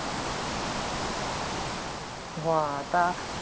হ্যাঁ তা